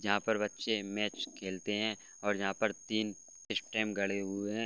जहाँ पे बच्चे मैच खेलते है और यहां पर तीन स्टंप गड़े हुए है।